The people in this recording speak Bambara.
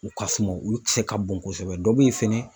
U ka suma olu ti se ka bon kosɛbɛ dɔ be yen fɛnɛ